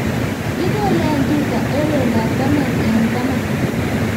Kikole eng' tuta eng' loindo ab taman eng' taman